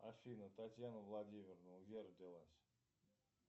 афина татьяна владимировна где родилась